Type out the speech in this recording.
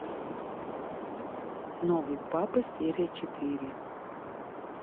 новый папа серия четыре